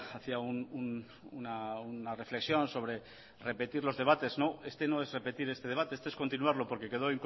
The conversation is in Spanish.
hacía una reflexión sobre repetir los debates no es repetir este debate este es continuarlo porque quedó